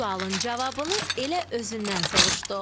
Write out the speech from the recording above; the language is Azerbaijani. Sualın cavabını elə özündən soruşduq.